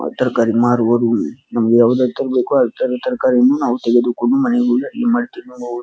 ತರಕಾರಿ ಮಾರುವುದು ನಮಗೆ ಯಾವುದೆಲ್ಲ ತರಕಾರಿ ಬೇಕು ತರಕಾರಿ ನಾವು ತೆಗೆದುಕೊಂಡು --